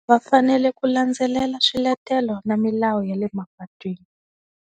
Va fanele ku landzelela swiletelo na milawu ya le mapatwini.